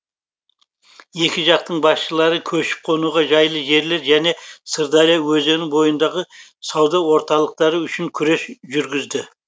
екі жақтың басшылары көшіп қонуға жайлы жерлер және сырдария өзені бойындағы сауда орталықтары үшін күрес жүргізді